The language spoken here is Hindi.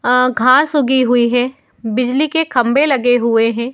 अअ घास उगी हुई है। बिजली के खंभे लगे हुए हैं।